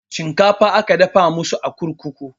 Shinkafa aka dafa masu a kurkuku